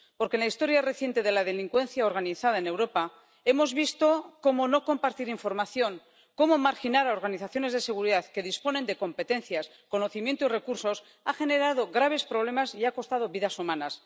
Porque, en la historia reciente de la delincuencia organizada en Europa, hemos visto cómo no compartir información, cómo marginar a organizaciones de seguridad que disponen de competencias, conocimiento y recursos, ha generado graves problemas y ha costado vidas humanas.